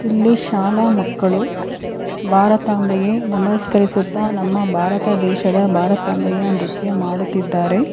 ಇಲ್ಲಿ ಶಾಲಾ ಮಕ್ಕಳು ಭಾರತಾಂಬೆಗೆ ನಮಸ್ಕರಿಸುತ್ತಾ ನಮ್ಮ ಭಾರತ ದೇಶದ ಭಾರತಾಂಬೆಯ ನೃತ್ಯ ಮಾಡುತ್ತಿದ್ದಾರೆ.